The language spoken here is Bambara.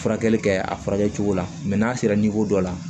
Furakɛli kɛ a furakɛ cogo la n'a sera dɔ la